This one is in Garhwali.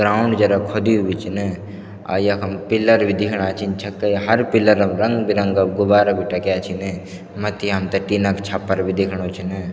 ग्राउंड जरा खुदयुं भी छिन अर यखम पिलर भी दिखेणा छिन छक्कै हर पिलर म रंग बिरंगा गुबारा भी टंग्या छिन मथ्थी हमथे टिन क छप्पर भी दिख्णु छिन।